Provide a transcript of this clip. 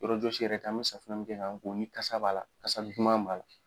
Yɔrɔjɔsi yɛrɛ kan an bɛ safinɛ min kɛ k'an ko ni kasa b'a la kasa duman b'a la.